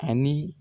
Ani